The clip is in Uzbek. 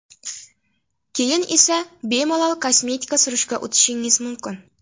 Keyin esa bemalol kosmetika surishga o‘tishingiz mumkin.